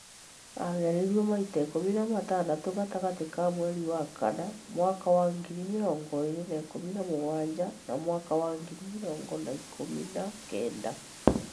Aageririo maita ikũmi na matandatũ gatagatĩ ka mweri wa kana mwaka wa ngiri mĩrongo ĩĩrĩ na ikũmi na mũgwanja na mwaka wa ngiri mĩrongo na ikũmi na kenda.